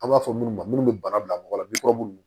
An b'a fɔ minnu ma munnu bɛ bana bila mɔgɔ la minnu